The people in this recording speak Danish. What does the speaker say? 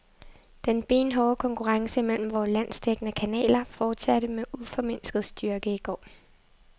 Den benhårde konkurrence mellem vore landsdækkende kanaler fortsatte med uformindsket styrke i går.